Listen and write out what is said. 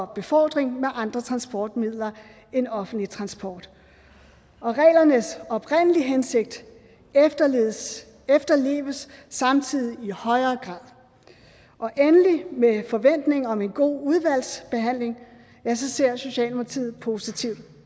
befordring med andre transportmidler end offentlig transport og reglernes oprindelige hensigt efterleves efterleves samtidig i højere grad og endelig med forventning om en god udvalgsbehandling ser socialdemokratiet positivt